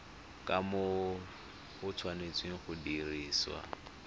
kumo di tshwanetse go dirisiwa